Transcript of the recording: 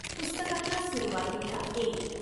पुस्तकाच्या सुरुवातीला अे.